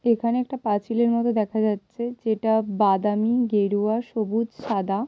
এখানে একটা পাঁচিলের মতো দেখা যাচ্ছে যেটা বাদামি গেরুয়া সবুজ সাদা ।